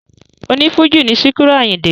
O ní Fújì ni Sikiru Àyìndé